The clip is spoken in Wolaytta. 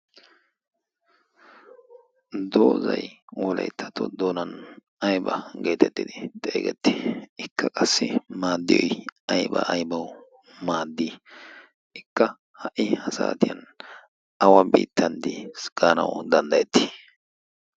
doozay wolayttatu doonan ayba geetettidi xeegetti ikka qassi maaddiyoi aiba aybau maaddii ikka ha'i ha saatiyan awa biittanddiigaanawu danddayetti?